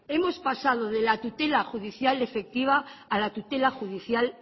hemos pasado de la tutela judicial efectiva a la tutela judicial